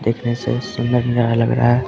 देखने से सुंदर लग रहा है।